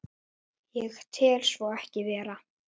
Ég tel svo ekki vera.